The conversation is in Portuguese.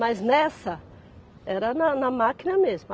Mas nessa, era na na máquina mesmo.